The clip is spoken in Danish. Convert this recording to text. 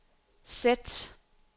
sæt